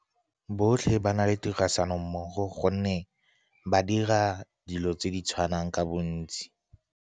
Botlhe ba na le tirisanommogo, gonne ba dira dilo tse di tshwanang ka bontsi.